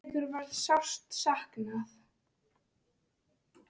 Eiríks verður sárt saknað.